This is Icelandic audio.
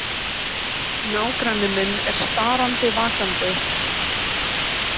Nágranni minn er starandi vakandi.